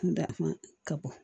ka bɔ